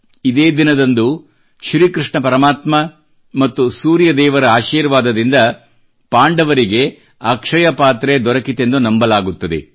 ಇದೇ ದಿನದಂದು ಶ್ರೀಕೃಷ್ಣ ಪರಮಾತ್ಮ ಮತ್ತು ಸೂರ್ಯದೇವರ ಆಶೀರ್ವಾದದಿಂದ ಪಾಂಡವರಿಗೆ ಅಕ್ಷಯ ಪಾತ್ರೆ ದೊರಕಿತೆಂದು ನಂಬಲಾಗುತ್ತದೆ